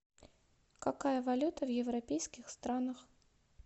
какая валюта в европейских странах